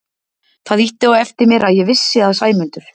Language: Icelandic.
Það ýtti á eftir mér að ég vissi að Sæmundur